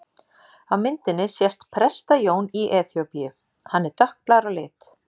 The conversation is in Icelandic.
Á myndinni sést Presta-Jón í Eþíópíu, hann er dökkblár á lit.